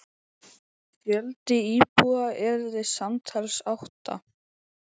Fjöldi íbúða yrði samtals átta.